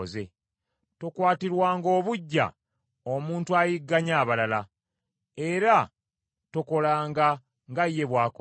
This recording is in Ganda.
Tokwatirwanga obuggya omuntu ayigganya abalala, era tokolanga nga ye bw’akola,